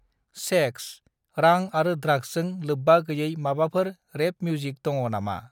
Sex, रां आरो द्राग्सजों लोब्बा गैयै माबाफोर रेप मिउजिक दङ नामा?